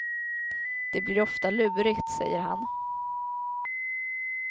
Det blir ofta lurigt, säger han.